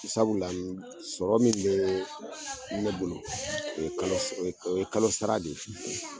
Sabula la sɔrɔ min be ne bolo o ye kalo, o ye kalosa de ye